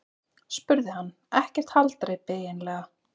spurði hann: Ekkert haldreipi eiginlega.